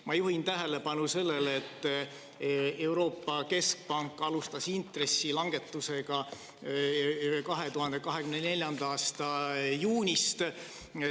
" Ma juhin tähelepanu sellele, et Euroopa Keskpank alustas intressilangetust 2024. aasta juunist.